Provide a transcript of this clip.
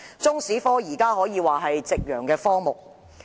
中史科現時可說是夕陽科目。